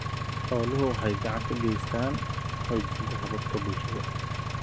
Xooluhu waxay gacan ka geystaan ??xoojinta hababka bulshada.